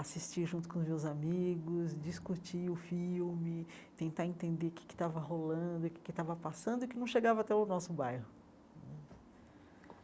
assistir junto com os meus amigos, discutir o filme, tentar entender o que é que estava rolando, o que é que estava passando e o que não chegava até o nosso bairro.